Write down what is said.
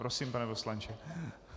Prosím, pane poslanče.